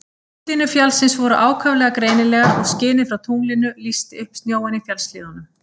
Útlínur fjallsins voru ákaflega greinilegar og skinið frá tunglinu lýsti upp snjóinn í fjallshlíðunum.